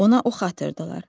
Ona ox atırdılar.